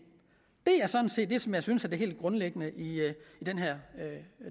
er sådan set det som jeg synes er det helt grundlæggende i den her